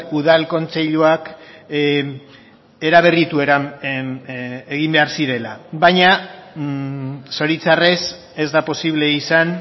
udal kontseiluak eraberritu egin behar zirela baina zoritzarrez ez da posible izan